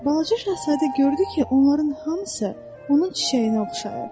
Balaca Şahzadə gördü ki, onların hamısı onun çiçəyinə oxşayır.